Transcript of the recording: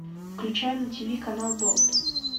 включай на тиви канал болт